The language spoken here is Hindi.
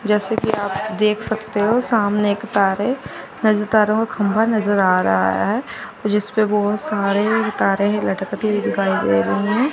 जैसे कि आप देख सकते हो सामने एक तारें नज तारो खम्भा नजर आ रहा है जिसपे बहोत सारे तारें है लटकते हुए दिखाई दे रही है।